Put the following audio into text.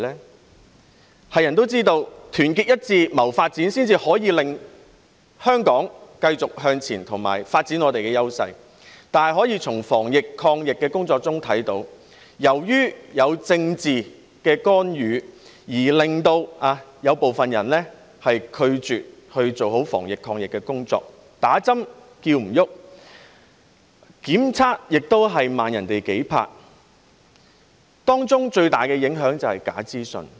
所有人也知道，要團結一致謀發展，才可以令香港繼續向前和發展我們的優勢，但從防疫抗疫的工作可以看到，由於有政治干預，令部分人拒絕做好防疫抗疫的工作，勸不動人注射疫苗，檢測也比別人慢數拍，當中最大的影響便是來自假資訊。